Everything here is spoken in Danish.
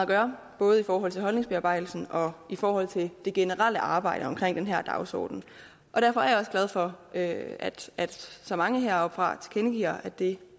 gøre både i forhold til holdningsbearbejdelsen og i forhold til det generelle arbejde omkring den her dagsorden derfor er jeg også glad for at så mange heroppefra tilkendegiver at det